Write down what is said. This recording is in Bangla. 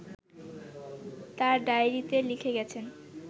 তাঁর ডায়েরিতে লিখে গেছেন